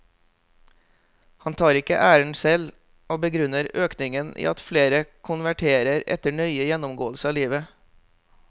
Han tar ikke æren selv, og begrunner økningen i at flere konverterer etter nøye gjennomgåelse av livet.